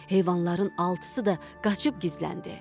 Heyvanların altısı da qaçıb gizləndi.